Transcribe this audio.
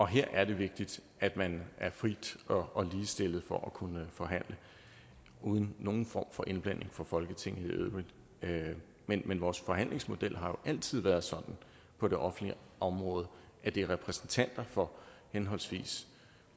her er det vigtigt at man er fri og ligestillet for at kunne forhandle uden nogen form for indblanding fra folketinget i øvrigt men men vores forhandlingsmodel har jo altid været sådan på det offentlige område at det er repræsentanter for henholdvis